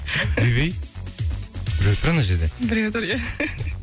үйбүй біреу тұр ана жерде біреу тұр ия